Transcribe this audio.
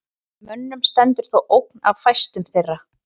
Mönnum stendur þó ógn af fæstum þeirra.